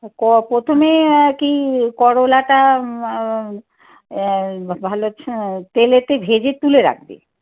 প্রথমে কি করলাটা আহ ভালো তেলেতে ভেজে তুলে রাখবে।